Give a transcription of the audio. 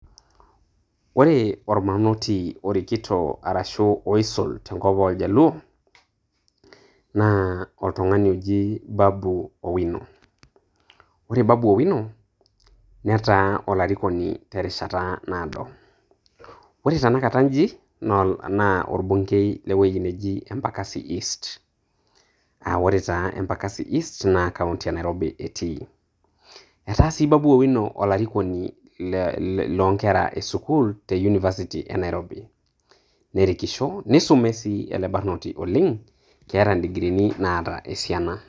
Ore olbarnoti orikito ashu oisul tenkop oo iljaluo naa oltung`ani oji Babu Owino. Ore Babu Owino, netaa olarikoni terishata naado. Ore tenakata inji naa orbungei le wueji naji Embakasi East. Aa ore taa Embakasi East naa kaunti e Nairobi etii. Etaa sii Babu Owino olarikoni le loo nkera e sukuul te university e Nairobi. Nerikisho neisume sii ele barnoti oleng keeta idikriini naata esiana.